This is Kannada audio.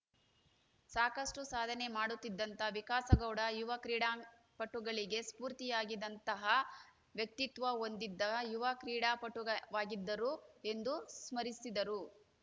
ಸಾಕಷ್ಟುಸಾಧನೆ ಮಾಡುತ್ತಿದ್ದಂತ ವಿಕಾಸಗೌಡ ಯುವ ಕ್ರೀಡಾಪಟುಗಳಿಗೆ ಸ್ಪೂರ್ತಿಯಾಗಿದ್ದಂತಹ ವ್ಯಕ್ತಿತ್ವ ಹೊಂದಿದ್ದ ಯುವ ಕ್ರೀಡಾಪಟುಗ ವಾಗಿದ್ದರು ಎಂದು ಸ್ಮರಿಸಿದರು